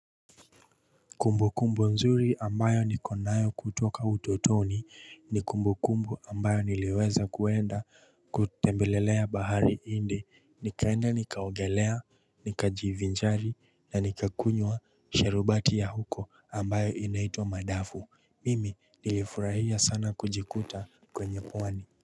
Kumbu kumbu nzuri ambayo ni konayo kutoka utotoni, ni kumbu kumbu ambayo ni liweza kuenda kutembelele ya bahari hindi, ni kaina ni kaogelaya, ni ka jivinjari, ni ni ka kunyua sherubati ya huko ambayo ina itwa Madafu. Mimi ni liifurahia sana kujikuta kwenye pwani.